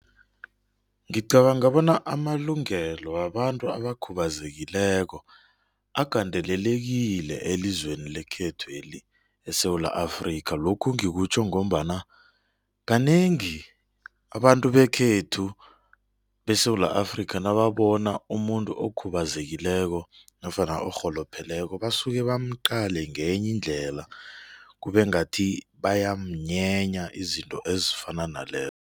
Ngicabanga bona amalungelo wabantu abakhubazekileko agandelelekile elizweni lekhethu weli eSewula Afrika lokhu ngikutjho ngombana kanengi abantu bekhethu beSewula Afrika nababona umuntu okhubazekileko nofana orholopheleko basuke bamqale ngenye indlela kube ngathi bayamunyenya izinto ezifana